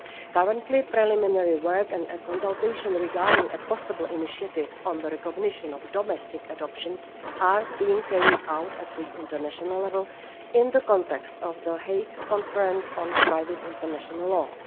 Currently, preliminary work and consultation regarding a possible initiative on the recognition of domestic adoptions are being carried out at international level in the context of the Hague Conference on Private International Law.